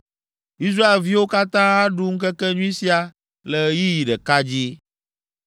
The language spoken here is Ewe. Israelviwo katã aɖu ŋkekenyui sia le ɣeyiɣi ɖeka dzi.